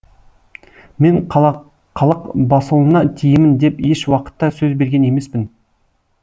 мен қалақбасұлына тиемін деп еш уақытта сөз берген емеспін